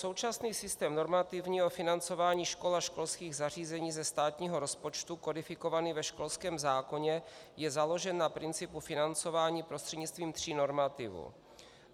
Současný systém normativního financování škol a školských zařízení ze státního rozpočtu kodifikovaný ve školském zákoně je založen na principu financování prostřednictvím tří normativů.